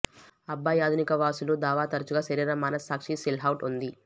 అబ్బాయి ఆధునిక వాసులు దావా తరచుగా శరీర మనస్సాక్షి సిల్హౌట్ ఉంది